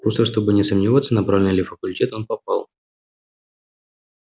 просто чтобы не сомневаться на правильный ли факультет он попал